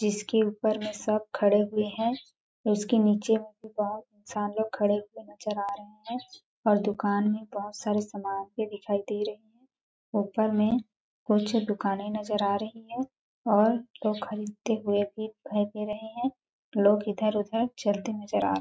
जिसके ऊपर में सब खड़े हुए है उसके नीचे में भी बहुत इंसान लोग खड़े हुए नज़र आ रहे है और दुकान में बहुत सारी समान भी दिखाई दे रही और ऊपर में और कुछ दुकाने नज़र आ रही है और लोग खरीदते हुए भी दिखाई दे रहे है लोग इधर-उधर चलते नज़र आ रहे है।